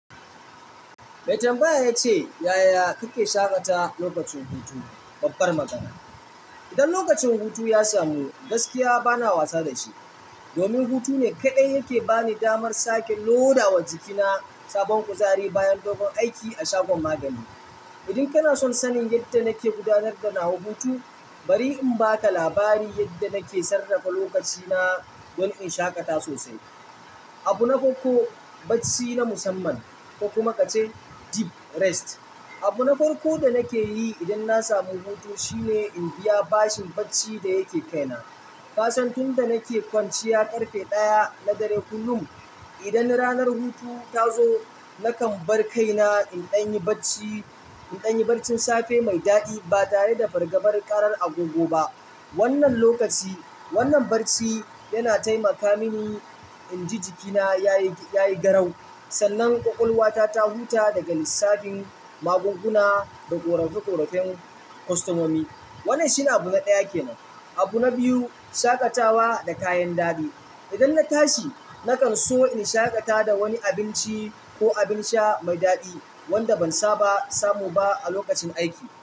Mai tambaya ya ce, "Yaya kake shaƙata lokacin hutu?" Babbar magana. Idan lokacin hutu ya samu ni, gaskiya bana wasa da shi. Domin hutu ne kaɗai yake ba ni damar sake loda wa jikina sabon kuzari bayan dogon aiki a shagon magani. Idan kana son sanin yadda nake gudanar da nawa hutu, bari in ba ka labari yadda nake sarrafa lokaci na don in shaƙata sosai. Abu na farko, bacci na musamman ko kuma ka ce deep rest. Abu na farko da nake yi idan na samu hutu shine in biya bashin bacci da yake kai na. Ka san tun da nake kwanciya ƙarfe ɗaya na dare kullum. Idan ranar hutu ta zo, nakan bar kaina in ɗanyi bacci, in ɗanyi bacci safe mai daɗi ba tare da fargabar ƙarar agogo ba. Wannan lokaci, wannan bacci yana taimaka mini in ji jikina yayi, yayi garau. Sannan ƙwaƙwalwa ta, ta huta daga lissafin magunguna da ƙorafe-ƙorafen kostomomi. Wannan shine abu na ɗaya ke nan. Abu na biyu, shaƙatawa da kayan daɗi. Idan na tashi, naƙan so in shaƙata da wani abinci ko abin sha mai daɗi wanda ban saba samu ba a lokacin aiki.